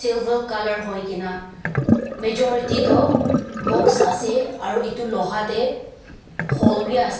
silver colour hoi kina majority toh box ase aru etu Loha te hold bhi ase.